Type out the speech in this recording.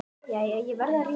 Jæja, ég verð að rjúka.